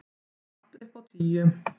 Allt upp á tíu.